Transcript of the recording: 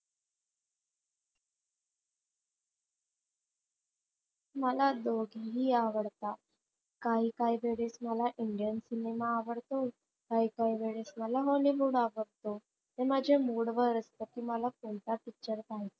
मला दोघेही आवडतात. काही काहीवेळेस मला सिनेमा आवडतो, काही काही वेळेस मला आवडतो ते माझ्या mood वर असत कि मला कोणता picture पाहायचा.